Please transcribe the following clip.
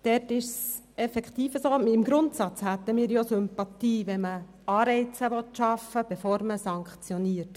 Es ist effektiv so, dass wir Sympathien dafür hätten, Anreize zu schaffen, bevor man sanktioniert.